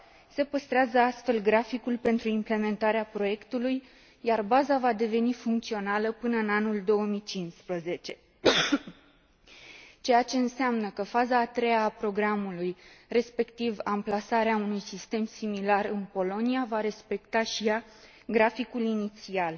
Se păstrează, astfel, graficul pentru implementarea proiectului, iar baza va deveni funcțională până în anul 2015, ceea ce înseamnă că faza a treia a programului, respectiv amplasarea unui sistem similar în Polonia, va respecta și ea graficul inițial.